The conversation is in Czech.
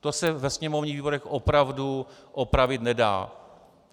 To se ve sněmovních výborech opravdu opravit nedá.